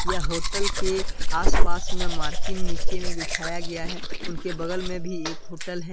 यह होटल के आसपास में मार्किन नीचे में बिठाया गया है उनके बगल में भी एक होटल है।